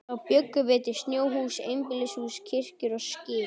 Þá bjuggum við til snjóhús, einbýlishús, kirkjur og skip.